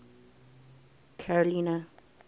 carolina